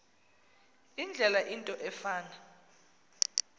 indlela into efana